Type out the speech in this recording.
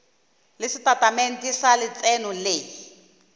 le setatamente sa letseno le